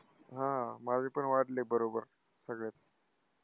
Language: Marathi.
हा, माझे पण वाढले बरोबर सगळे.